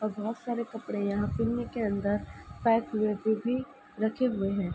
और बोहोत सारे कपड़े यहां पिन्नी के अंदर पैक हुए फिर भी रखे हुए हैं।